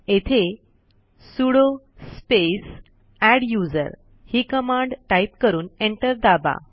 येथे sudo space adduser ही command type करून एंटर दाबा